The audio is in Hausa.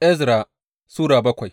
Ezra Sura bakwai